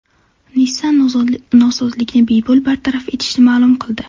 Nissan nosozlikni bepul bartaraf etishini ma’lum qildi.